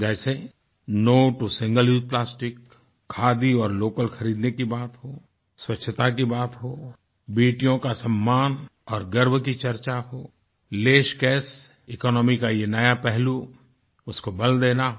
जैसे no to single use plasticखादी और लोकल खरीदनेकी बात हो स्वच्छता की बात हो बेटियों का सम्मान और गर्व की चर्चा होless कैशेकोनॉमी का ये नया पहलू उसको बल देना हो